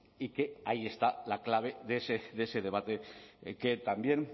y que ahí está la clave de ese debate que también